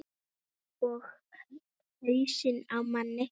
Og hausinn á manni.